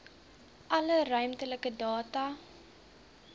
alle ruimtelike data